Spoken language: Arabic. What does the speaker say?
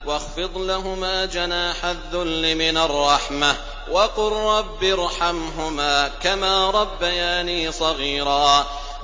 وَاخْفِضْ لَهُمَا جَنَاحَ الذُّلِّ مِنَ الرَّحْمَةِ وَقُل رَّبِّ ارْحَمْهُمَا كَمَا رَبَّيَانِي صَغِيرًا